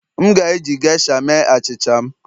M ga-eji geisha mee achịcha m